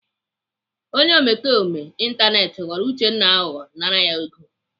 Onye omekome ịntanetị ghọrọ Uchenna aghụghọ nara ya ego.